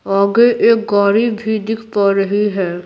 आगे एक गाड़ी भी दिख पा रही है।